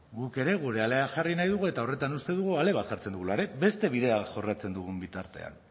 guk ere gure alea jarri nahi dugu eta horretan uste dugu ale bat jartzen dugula ere beste bide bat jorratzen dugun bitartean